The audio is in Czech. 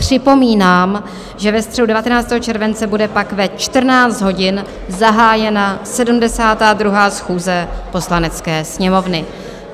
Připomínám, že ve středu 19. července bude pak ve 14 hodin zahájena 72. schůze Poslanecké sněmovny.